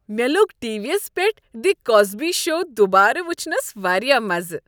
مےٚ لوٚگ T V یس پیٹھ "دی کوسبی شو" دوبارٕ وٕچھنس واریاہ مزٕ۔